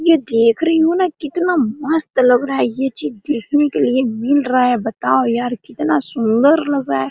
ये देख रही हो ना कितना मस्त लग रहा है ये चीज देखने के लिए मील रहा है बताओ यार कितना सुन्दर लग रहा हैं।